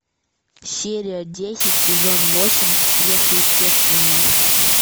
серия десять сезон восемь сверхъестественное